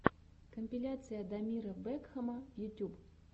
компиляция дамира бэкхама ютюб